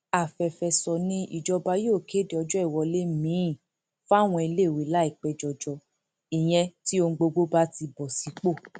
àfẹfẹso ni ìjọba yóò kéde ọjọ ìwọlé miín fáwọn iléèwé láìpẹ jọjọ ìyẹn tí ohun gbogbo bá ti bọ sípò